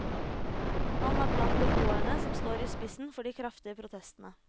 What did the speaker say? Han er blant beboerne som står i spissen for de kraftige protestene.